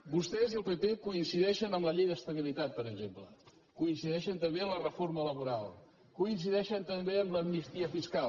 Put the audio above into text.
vostès i el pp coincideixen en la llei d’estabilitat per exemple coincideixen també en la reforma laboral coincideixen també en l’amnistia fiscal